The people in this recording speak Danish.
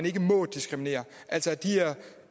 ikke må diskriminere altså de her